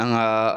An gaa